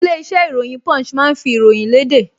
Ilé-iṣẹ́ ìròyìn Punch máa ń fi ìròyìn léde